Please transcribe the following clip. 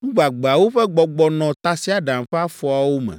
nu gbagbeawo ƒe gbɔgbɔ nɔ tasiaɖam ƒe afɔawo me.